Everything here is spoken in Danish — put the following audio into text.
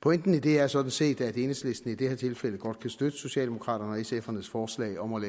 pointen i det er sådan set at enhedslisten i det her tilfælde godt kan støtte socialdemokraterne og sfs forslag om at